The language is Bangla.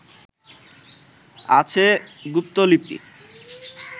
আছে গুপ্তলিপি